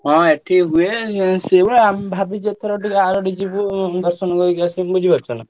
ହଁ ଏଠି ହୁଏ ହେଲେ ଅମେ ଭାବିଛୁ ଏଥର ଟିକେ ଆରଡି ଯିବୁ ଦର୍ଶନ କରିକି ଆସିମୁ ବୁଝିପାରୁଛ ନା।